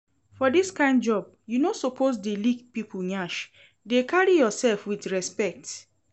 For dis kyn job you no suppose dey lick people nyash, dey carry yourself with respect